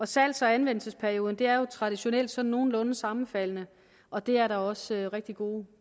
salgs og anvendelsesperioderne er jo traditionelt sådan nogenlunde sammenfaldende og det er der også rigtig gode